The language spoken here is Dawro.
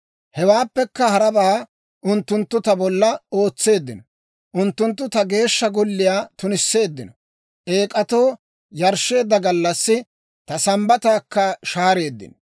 Hewaappekka harabaa unttunttu ta bolla ootseeddino; unttunttu ta Geeshsha Golliyaa tunisseeddino; Eek'atoo yarshsheedda gallassi ta Sambbataakka shaareeddino.